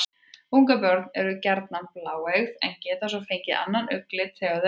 Ungabörn eru gjarnan bláeygð en geta svo fengið annan augnlit þegar þau eldast.